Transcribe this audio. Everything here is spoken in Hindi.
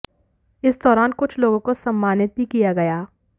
इस दौरान कुछ लोगों को सम्मानित भी किया गया